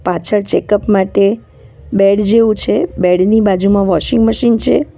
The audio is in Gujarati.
પાછળ ચેકઅપ માટે બેડ જેવું છે બેડ ની બાજુમાં વોશિંગ મશીન છે.